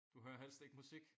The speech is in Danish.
Du hører helst ikke musik?